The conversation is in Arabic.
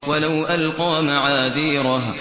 وَلَوْ أَلْقَىٰ مَعَاذِيرَهُ